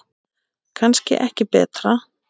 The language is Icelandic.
Kannski ekki betra.